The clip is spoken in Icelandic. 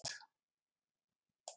Nei, ég hef ekki hugmynd.